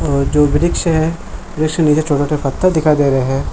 अअ जो भी वृक्ष है वृक्ष के नीचे छोटे छोटे पत्ते पत्ता दिखाई दे रहा है।